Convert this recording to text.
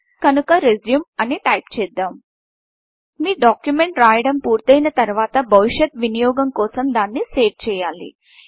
కనుక Resumeరెజ్యూం అని టైప్ చేద్దాం మీ డాక్యుమెంట్ రాయడం పూర్తయిన తరువాత భవిష్యత్ వినియోగం కోసం దాన్ని సేవ్ చేయాలి